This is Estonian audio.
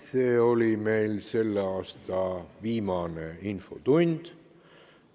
See oli selle aasta viimane infotund.